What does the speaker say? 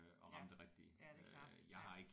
Ja ja det er klart ja